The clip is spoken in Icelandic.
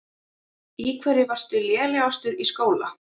Í hverju varstu lélegastur í skóla?